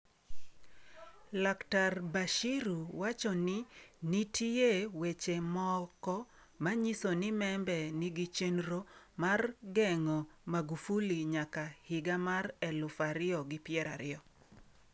Laktar Bashiru wacho ni nitie weche moko manyiso ni Membe nigi chenro mar geng'o Magufuli nyaka higa mar 2020.